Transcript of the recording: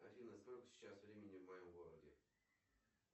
афина сколько сейчас времени в моем городе